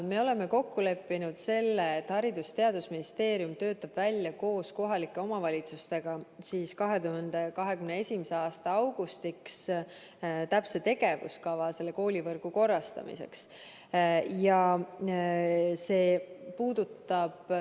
Me oleme kokku leppinud, et Haridus- ja Teadusministeerium töötab koos kohalike omavalitsustega 2021. aasta augustiks välja täpse tegevuskava koolivõrgu korrastamiseks.